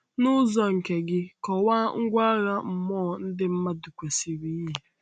N’ụzọ nke gị, kọwaa ngwa agha mmụọ ndị mmadụ kwesịrị yi.